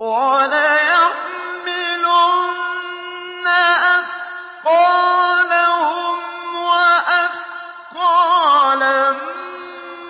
وَلَيَحْمِلُنَّ أَثْقَالَهُمْ وَأَثْقَالًا